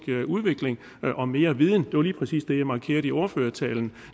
udvikling og mere viden det var lige præcis det jeg markerede i ordførertalen